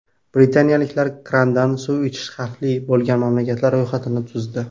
Britaniyaliklar krandan suv ichish xavfli bo‘lgan mamlakatlar ro‘yxatini tuzdi.